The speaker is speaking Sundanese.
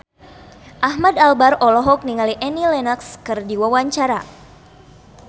Ahmad Albar olohok ningali Annie Lenox keur diwawancara